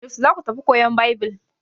Yaushe za ku tafi koyan Baibil?